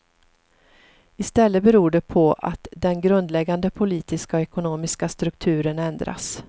I stället beror det på att den grundläggande politiska och ekonomiska strukturen ändras.